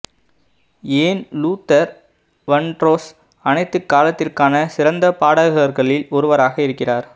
ஏன் Luther Vandross அனைத்து காலத்திற்கான சிறந்த பாடகர்களில் ஒருவராக இருக்கிறார்